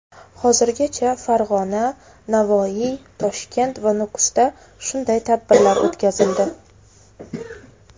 Hozirgacha Farg‘ona, Navoiy, Toshkent va Nukusda shunday tadbirlar o‘tkazildi.